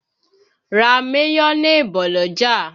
Ra mayonẹ bọ̀ l'ọ́jà!